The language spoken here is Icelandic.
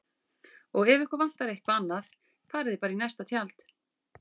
Og ef ykkur vantar eitthvað annað farið þið bara í næsta tjald